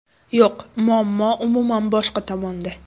Yo‘q, muammo umuman boshqa tomonda.